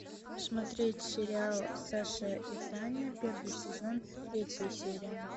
смотреть сериал саша и таня первый сезон третья серия